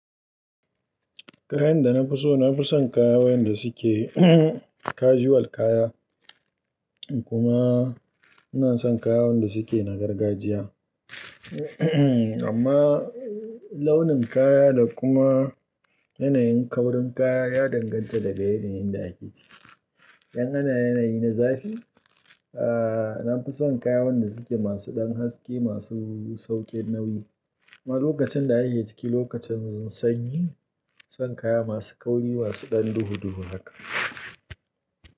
Kayan da na fi so, na fi son kayan da suke casual kaya. Kuma ina son kayayyen da suke na gargajiya. Amma launin kaya da kuma yanayin kaurin kaya ya danganta da ga yanayin da ake ciki. In ana yanayi na zafi, a na fi son kayan da suke masu ɗan haske, masu sauƙin nauyi. Amma lokacin da ayi ciki, lokacin sanyi, na fi son kaya masu kauri, masu ɗan duhu duhu haka.